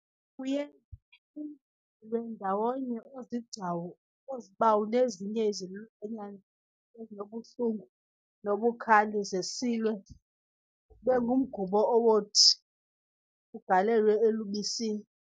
Kuye kunqunqelwe ndawonye oozigcawu, oozibawu nezinye izilwanyana ezinobuhlungu nobukhali, zisilwe zibengumgubo owothi ugalelwe elubisini